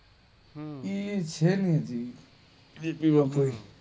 હમ્મ એ છે નાઈ ઈજી